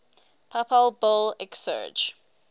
papal bull exsurge